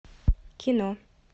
кино